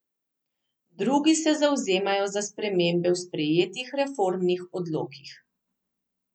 Drugi se zavzemajo za spremembe v sprejetih reformnih odlokih.